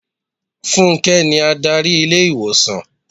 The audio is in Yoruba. Fúnké ni Ádárì ilé ìwòsàn.